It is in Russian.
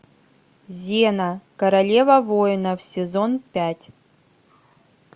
зена королева воинов сезон пять